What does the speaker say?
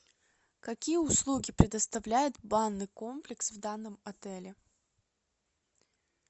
какие услуги предоставляет банный комплекс в данном отеле